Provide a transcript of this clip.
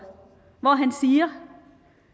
hvor han siger